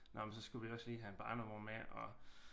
Nåh men så skulle vi også lige have en barnevogn med og